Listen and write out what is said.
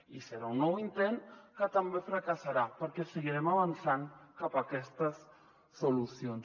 i serà un nou intent que també fracassarà perquè seguirem avançant cap a aquestes solucions